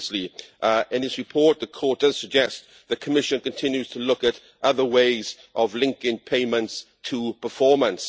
Previously in its report the Court does suggest the Commission continues to look at other ways of linking payments to performance.